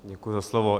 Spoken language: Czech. Děkuji za slovo.